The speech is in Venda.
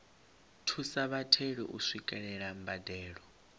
thusa vhatheli u swikelela mbadelo